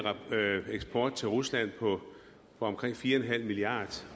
eksport til rusland på omkring fire milliard